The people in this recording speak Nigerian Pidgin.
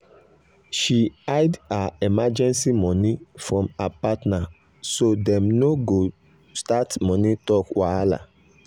um she hide her emergency money from her partner so dem no go start money talk wahala.